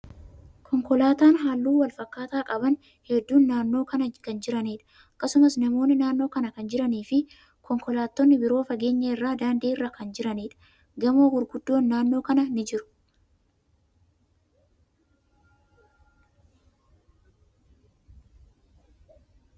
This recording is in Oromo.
Konkolaatan haalluu wal fakkaataa qaban hedduun naannoo kana kan jiraniidha. Akkasumas, namootni naannoo kana kan jiranii fi konkolaatonni biroo fageenya irraa daandii irra kan jiraniidha. Gamoo gurguddoon naannoo kana ni jiru.